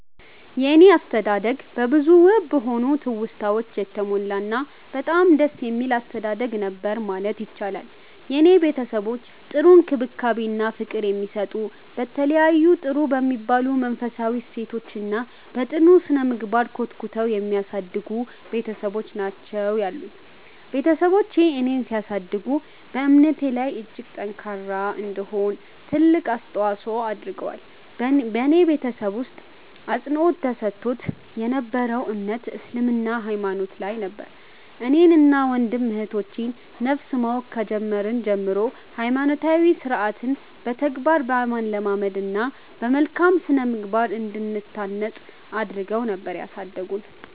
የኔ አስተዳደግ በብዙ ውብ በሆኑ ትውስታወች የተሞላ እና በጣም ደስ የሚል አስተዳደግ ነበር ማለት ይቻላል። የኔ ቤተሰቦች ጥሩ እንክብካቤ እና ፍቅር የሚሰጡ፤ በተለያዩ ጥሩ በሚባሉ መንፈሳዊ እሴቶች እና በ ጥሩ ስነምግባር ኮትኩተው የሚያሳድጉ ቤትሰቦች ናቸው ያሉኝ። ቤትሰቦቼ እኔን ሲያሳድጉ በእምነቴ ላይ እጅግ ጠንካራ እንድሆን ትልቅ አስተዋፆ አድርገዋል። በኔ ቤተሰብ ውስጥ አፅንዖት ተሰጥቶት የ ነበረው እምነት እስልምና ሃይማኖት ላይ ነበር። እኔን እና ወንድም እህቶቼ ን ነፍስ ማወቅ ከጀመርን ጀምሮ ሃይማኖታዊ ስርዓትን በተግባር በማለማመድ እና በመልካም ስነምግባር እንድንታነፅ አድረገው ነበር ያሳደጉን።